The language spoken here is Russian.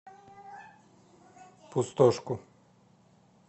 пустошку